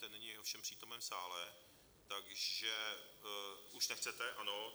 Ten není ovšem přítomen v sále, takže... už nechcete, ano.